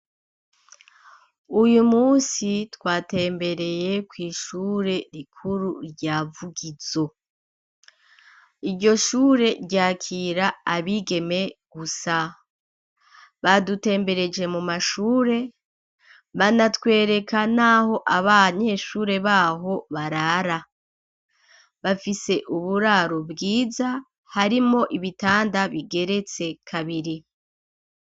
Uyu musi twatembereye kw'ishure rikuru rya Vugizo, iryo shure ryakira abigeme gusa, badutembereje mu mashure banatwereka naho abanyeshure baho barara, bafise uburaro bwiza harimwo ibitanda bigeretse kabiri.